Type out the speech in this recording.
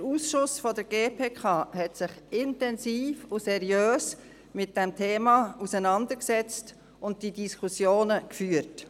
Der Ausschuss der GPK hat sich intensiv und seriös mit diesem Thema auseinandergesetzt und diese Diskussionen geführt.